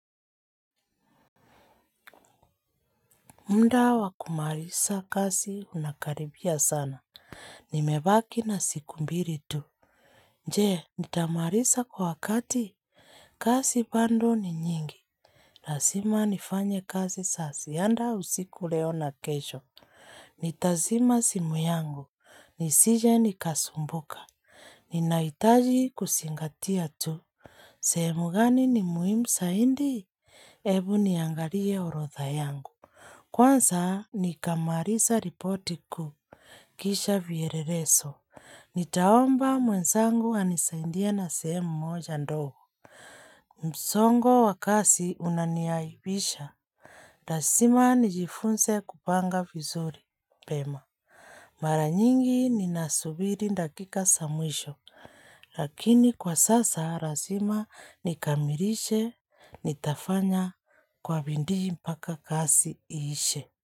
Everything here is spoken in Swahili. Mda wa kumalisa kazi unakaribia sana. Nimebaki na siku mbili tu. Je, nitamaliza kwa wakati. Kazi bado ni nyingi. Lazima nifanye kazi za ziada. Hata usiku leo na kesho. Nitazima simu yangu. Nisije nikasumbuka. Ninahitaji kusingatia tu. Sehemu gani ni muhimu zaidi? Ebu niangalie orodha yangu. Kwanza nikamalisa ripoti kuu, kisha vyelelezo, nitaomba mwenzangu anisaidie na sehemu moja ndogo, msongo wa kasi unaniaibisha. Lazima nijifunze kupanga vizuri, Pema. Maranyingi ninasubiri dakika za mwisho, lakini kwa sasa lazima nikamilishe, nitafanya kwa bidii mpaka kazi iishe.